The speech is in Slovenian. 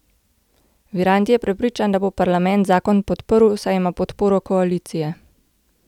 Virant je prepričan, da bo parlament zakon podprl, saj ima podporo koalicije.